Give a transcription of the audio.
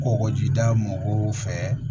Kɔgɔjida mɔgɔw fɛ